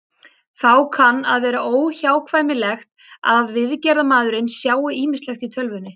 Þá kann að vera óhjákvæmilegt að viðgerðarmaðurinn sjái ýmislegt í tölvunni.